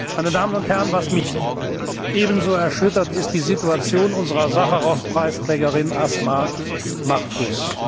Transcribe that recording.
Meine Damen und Herren, was mich ebenso erschüttert, ist die Situation unserer Sacharow Preisträgerin Asma Mahfouz.